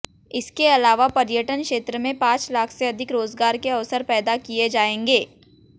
इसके अलावा पर्यटन क्षेत्र में पांच लाख से अधिक रोजगार के अवसर पैदा किए जाएंगे